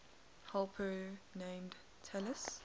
helper named talus